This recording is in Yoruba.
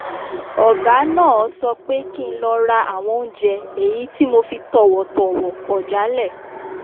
ọ̀gá náà sọ pé kí n lọ ra àwọn oúnjẹ èyí tí mo fi tọ̀wọ̀tọ̀wọ̀ kọ̀ jálẹ̀